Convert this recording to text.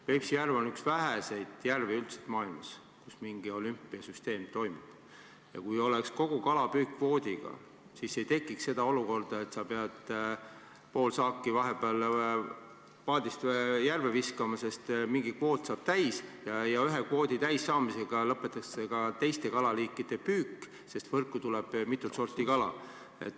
Peipsi järv on üks väheseid järvi maailmas, kus mingi olümpiasüsteem toimib, ja kui kogu kalapüük oleks kvoodiga, siis ei tekiks seda olukorda, et sa pead pool saaki vahepeal paadist järve viskama, sest mingi kvoot saab täis ja ühe kvoodi täissaamisega lõpetatakse ka teiste kalaliikide püük, sest võrku tuleb mitut sorti kala.